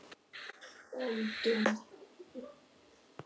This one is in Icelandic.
Öldum úthafsins er strandlengjan langþráð.